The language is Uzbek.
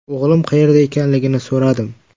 O‘g‘lim qayerda ekanligini so‘radim.